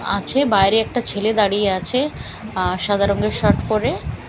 আছে বাইরে একটা ছেলে দাঁড়িয়ে আছে আ সাদা রঙের শার্ট পরে।